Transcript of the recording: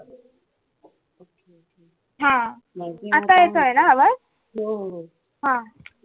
हा आता येतोय न आवाज हा